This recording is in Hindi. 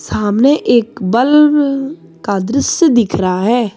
सामने एक बल का दृश्य दिख रहा है।